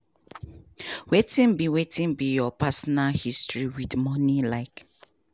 wetin be wetin be your personal history wit money like?